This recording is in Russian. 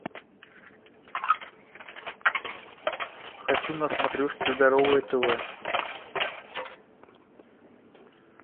хочу на смотрешке здоровое тв